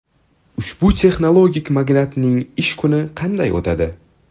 Ushbu texnologik magnatning ish kuni qanday o‘tadi?